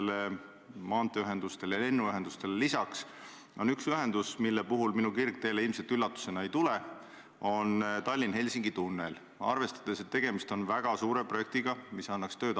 See ei saa olla, ma arvan, täna kuidagi kriisimeetmete eriinvesteering, sest eriinvesteering teedeehitusele, nagu te teate, on suurusjärgus 40 miljonit ja sellega me seda tunnelit valmis ei tee, see läheb eeskätt kohalike omavalitsuste kruusateedele ja asfaltteedele, Maanteeametil on seal mõned projektid, kaks või kolm tükki.